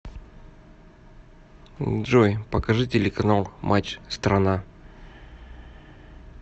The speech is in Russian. джой покажи телеканал матч страна